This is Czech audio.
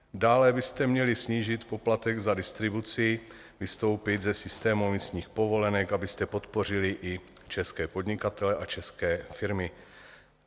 Dále byste měli snížit poplatek za distribuci, vystoupit ze systému emisních povolenek, abyste podpořili i české podnikatele a české firmy.